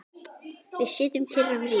Við sitjum kyrr um hríð.